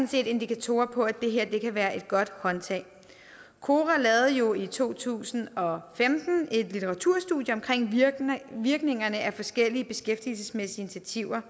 set indikatorer på at det her kan være et godt håndtag kora lavede jo i to tusind og femten et litteraturstudie af virkningerne af forskellige beskæftigelsesmæssige initiativer